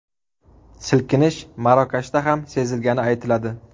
Silkinish Marokashda ham sezilgani aytiladi.